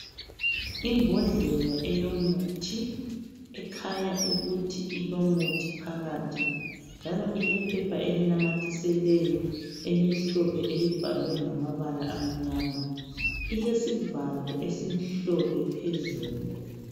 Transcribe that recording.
Imbodlela eyomuthi ekhanya ukuthi ilomuthi phakathi njalo ilephepha elinamathiselweyo elimhlophe elibhalwe ngamabala amnyama ilesivalo phezulu